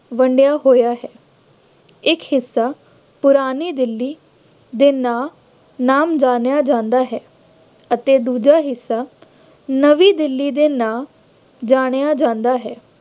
ਵੰਡਿਆ ਹੋਇਆ ਹੈ। ਇੱਕ ਹਿੱਸਾ ਪੁਰਾਣੀ ਦਿੱਲੀ ਦੇ ਨਾਂ ਨਾਮ ਜਾਣਿਆ ਜਾਂਦਾ ਹੈ ਅਤੇ ਦੂਜਾ ਹਿੱਸਾ ਨਵੀ ਦਿੱਲੀ ਦੇ ਨਾਂ ਜਾਣਿਆ ਜਾਂਦਾ ਹੈ।